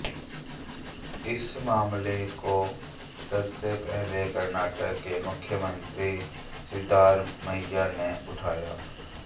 इस मामले को सबसे पहले कर्नाटक के मुख्यमंत्री सिद्धारमैया ने उठाया